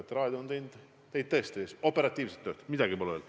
Ka raadio on teinud operatiivset tööd, midagi pole öelda.